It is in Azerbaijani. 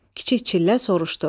Kiçik çillə soruşdu: